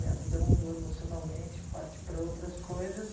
Minha vida mudou emocionalmente, parti para outras coisas.